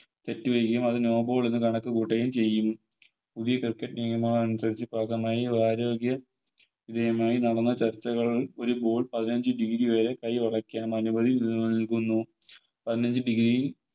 തെറ്റ് ചെയ്യുകയും അത് No ball എന്ന് കണക്ക് കൂട്ടുകയും ചെയ്യുന്നു പുതിയ Cricket നിയമങ്ങൾ അനുസരിച്ച് മായും ആരോഗ്യ Team ഉമായി നടന്ന ചർച്ചകൾ ഒരു Ball പതിനഞ്ച് Degree വരെ കൈ മടക്കാൻ അനുമതി നൽകുന്നു പതിനഞ്ച് Degree യിൽ